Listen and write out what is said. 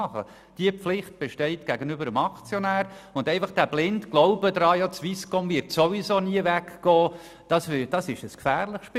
Diese Pflicht gegenüber dem Aktionär besteht, und der blinde Glaube daran, dass die Swisscom ohnehin nie weggehen wird, ist ein gefährliches Spiel.